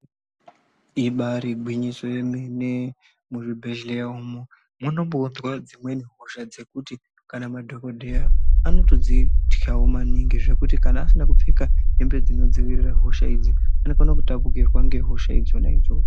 Ibari gwinyiso yemene muzvibhedhleya umo munombounzwa dzimweni hosha dzekuti kana madhokodheya anotodzit'awo maningi zvekuti kana asina kupfeka hembe dzinodzivirira hosha idzi anokone kutapukirwa ngehosha dzona idzodzo.